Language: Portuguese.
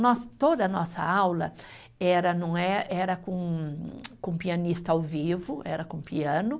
Nós, toda a nossa aula era não é, era com pianista ao vivo, era com piano.